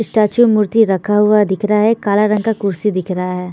Statue मूर्ति रखा हुआ दिखाई दे रह है कला रंग का कुर्सी दिख रहा है।